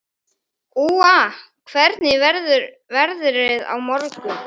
Úa, hvernig verður veðrið á morgun?